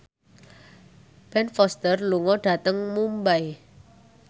Ben Foster lunga dhateng Mumbai